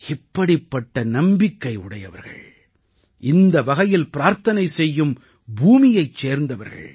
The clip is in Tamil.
இப்படிப்பட்ட நம்பிக்கை உடையவர்கள் இந்த வகையில் பிரார்த்தனை செய்யும் பூமியைச் சேர்ந்தவர்கள்